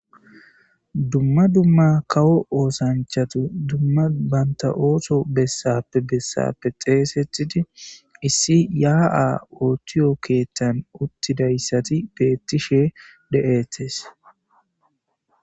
Duma duma kawo oosanchati duma banta ooso bessappe bessappe xeysetidi issi ya'a othiyo keethan uttidaysati betishe de'etes